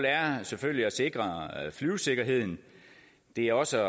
er selvfølgelig at sikre flyvesikkerheden det er også